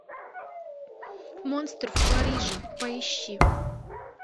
монстр в париже поищи